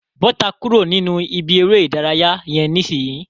Bọ́ta kúrò nínú ìbí eré ìdárayá yẹn nisinyi.